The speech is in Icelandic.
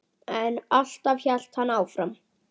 En alltaf hélt hann áfram.